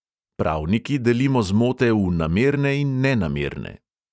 Pravniki delimo zmote v namerne in nenamerne.